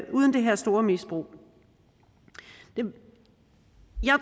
uden det her store misbrug jeg